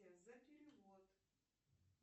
за перевод